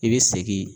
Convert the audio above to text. I bɛ segin